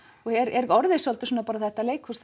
og er orðið svolítið þetta leikhús